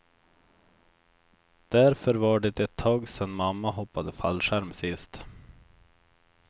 Därför var det ett tag sen mamma hoppade fallskärm sist.